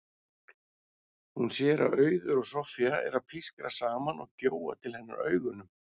Hún sér að Auður og Soffía eru að pískra saman og gjóa til hennar augunum.